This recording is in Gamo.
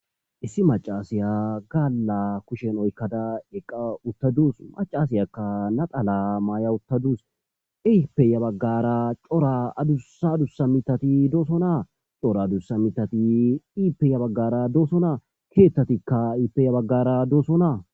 issi macaasiya gaaala kushen oykkada iqa uttaduus macasiyakka natala maay7a uttaduus iipeya baggara cora adussa dusa mitati doosonaa cora adussa mitati iipeya baggara doosonna keettatikka iipeya baggara doosonaa